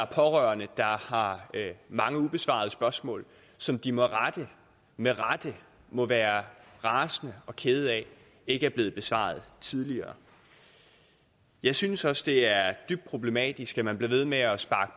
pårørende har mange ubesvarede spørgsmål som de med rette med rette må være rasende og kede af ikke er blevet besvaret tidligere jeg synes også det er dybt problematisk at man bliver ved med at